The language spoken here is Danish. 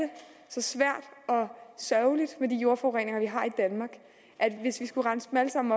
så svært og sørgeligt med de jordforureninger vi har i danmark at hvis vi skulle rense alle sammen